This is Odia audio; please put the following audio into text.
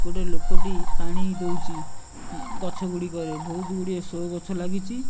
ଗୋଟେ ଲୋକଟି ପାଣି ଦଉଚି ଗଛ ଗୁଡିକରେ ବହୁତୁ ଗୁଡିଏ ସୋ ଗଛ ଲାଗିଚି।